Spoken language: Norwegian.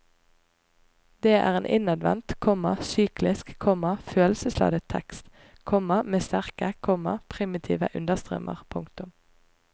Det er en innadvendt, komma syklisk, komma følelsesladet tekst, komma med sterke, komma primitive understrømmer. punktum